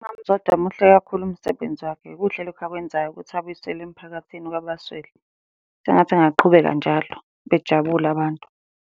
Umama, uZodwa muhle kakhulu umsebenzi wakhe, kuhle lokhu akwenzayo ukuthi abuyisele emphakathini kwabaswele. sengathi angaqhubeka njalo, bejabule abantu.